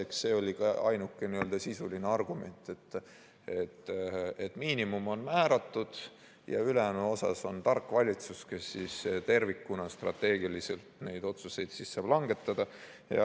Eks see oli ka ainuke sisuline argument, et miinimum on määratud ja ülejäänu osas saab tark valitsus neid otsuseid langetada.